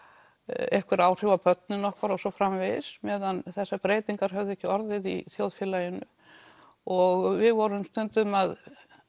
einhver áhrif á börnin okkar og svo framvegis meðan þessar breytingar höfðu ekki orðið í þjóðfélaginu og við vorum stundum að